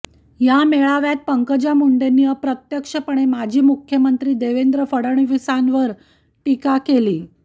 या मेळाव्यात पंकजा मुंडेनी अप्रत्यक्षपणे माजी मुख्यमंत्री देवेंद्र फडणीवीसांवर टीका केली